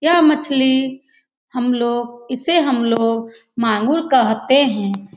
यह मछली हमलोग इसे हमलोग मांगुर कहते हैं ।